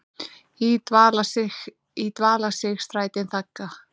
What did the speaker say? í dvala sig strætin þagga.